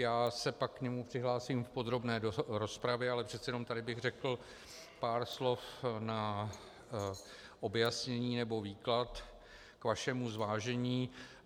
Já se pak k němu přihlásím v podrobné rozpravě, ale přece jenom tady bych řekl pár slov na objasnění nebo výklad k vašemu zvážení.